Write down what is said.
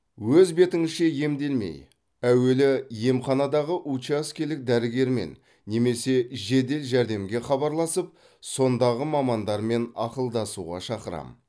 өз бетіңізше емделмей әуелі емханадағы учаскелік дәрігермен немесе жедел жәрдемге хабарласып сондағы мамандармен ақылдасуға шақырам